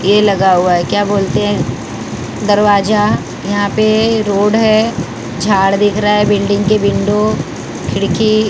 ये लगा हुआ है क्या बोलते हैं? दरवाजा यहां पे रोड है झाड़ दिख रहा है बिल्डिंग के विंडो खिड़की--